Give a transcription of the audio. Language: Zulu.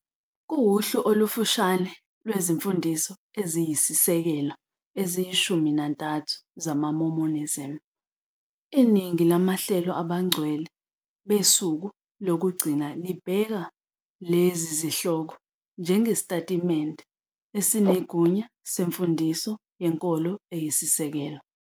Kuwuhlu olufushane lwezimfundiso eziyisisekelo eziyishumi nantathu zamaMormonism. Iningi lamahlelo abaNgcwele beSuku Lokugcina libheka lezi zihloko njengesitatimende esinegunya semfundiso yenkolo eyisisekelo.